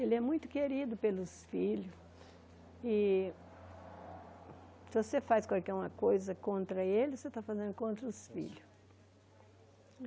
Ele é muito querido pelos filhos e se você faz qualquer uma coisa contra ele, você está fazendo contra os filhos.